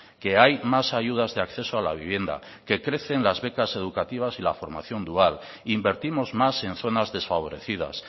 que hay más ayudas de acceso a la vivienda que crecen las becas educativas y la formación dual invertimos más en zonas desfavorecidas